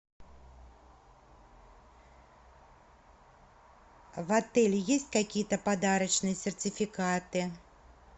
в отеле есть какие то подарочные сертификаты